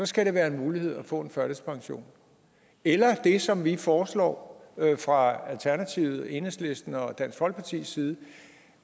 skal det være en mulighed for at en førtidspension eller det som vi foreslår fra alternativet enhedslisten og dansk folkepartis side